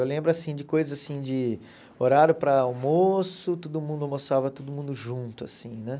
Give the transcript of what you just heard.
Eu lembro, assim, de coisas assim de horário para almoço, todo mundo almoçava, todo mundo junto, assim, né?